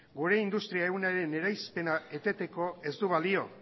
gure industria ehunaren eraispena eteteko ez du balio